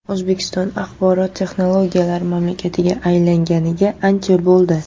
O‘zbekiston axborot texnologiyalari mamlakatiga aylanganiga ancha bo‘ldi.